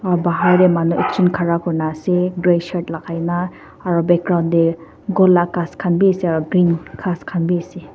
aru bahar te manu ekjun khara kuri na ase grey shirt lagai kena aru background te la khas khan bi ase aru green khas khan bi ase.